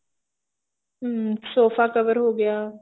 ਹਮ sofa cover ਹੋ ਗਿਆ